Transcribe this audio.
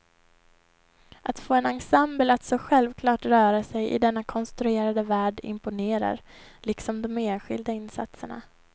Att få en ensemble att så självklart röra sig i denna konstruerade värld imponerar, liksom de enskilda insatserna.